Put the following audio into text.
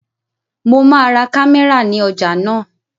Mo máa ra kámẹ́rà ní ọjà náà